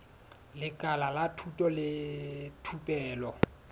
lekala la thuto le thupelo